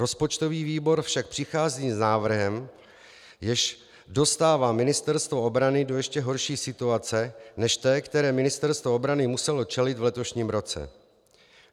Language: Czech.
Rozpočtový výbor však přichází s návrhem, jenž dostává Ministerstvo obrany do ještě horší situace než té, které Ministerstvo obrany muselo čelit v letošním roce.